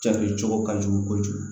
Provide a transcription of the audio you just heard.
Cakɛ cogo ka jugu kojugu